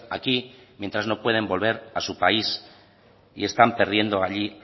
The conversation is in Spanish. aquí mientras no pueden volver a su país y están perdiendo allí